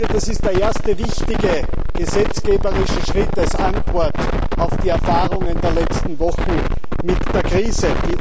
Das ist der erste wichtige gesetzgeberische Schritt als Antwort auf die Erfahrungen der letzten Wochen mit der Krise.